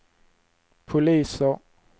poliser